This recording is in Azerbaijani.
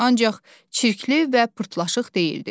Ancaq çirkli və pırtlaşıq deyildi.